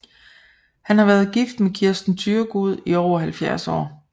Han har været gift med Kirsten Thyregod i over 70 år